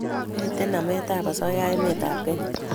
mito namet ab asoya emet ab kenya